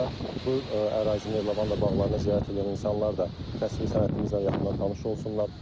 Eyni zamanda bu ərazinin, lavanda bağlarını ziyarət edən insanlar da təsviri sənətimizlə yaxından tanış olsunlar.